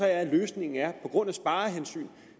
at løsningen er at grund af sparehensyn